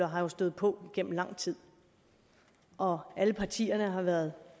har jo stået på gennem lang tid og alle partierne har været